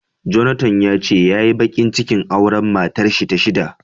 Jonathan yace yayi bakin cikin auren matarshi ta shida.